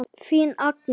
Þín Agnes.